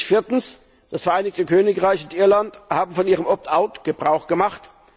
Viertens Das Vereinigte Königreich und Irland haben von ihrem Opt out Gebrauch gemacht.